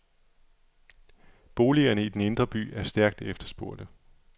Boligerne i den indre by er stærkt efterspurgte.